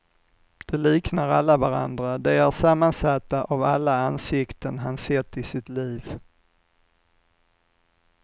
De liknar alla varandra, de är sammansatta av alla ansikten han sett i sitt liv.